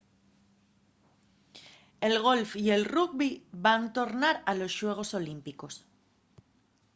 el golf y el rugbi van tornar a los xuegos olímpicos